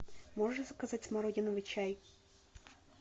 можешь заказать смородиновый чай